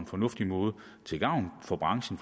fornuftig måde til gavn for branchen